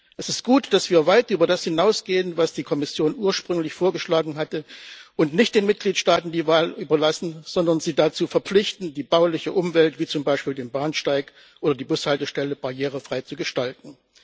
Es ist gut, dass wir weit über das hinausgehen, was die Kommission ursprünglich vorgeschlagen hatte, und nicht den Mitgliedstaaten die Wahl überlassen, sondern sie dazu verpflichten, die bauliche Umwelt wie zum Beispiel den Bahnsteig und die Bushaltestelle barrierefrei zu gestalten.